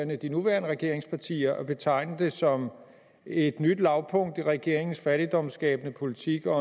med de nuværende regeringspartier at betegne det som et nyt lavpunkt i regeringens fattigdomsskabende politik og